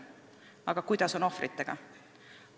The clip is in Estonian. Aga kuidas on ohvritega?